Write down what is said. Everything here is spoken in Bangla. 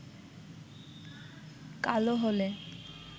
কালো হলে